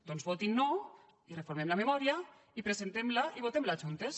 doncs votin no i reformem la memòria i presentem la i votem la juntes